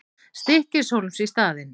Stykkishólms í staðinn.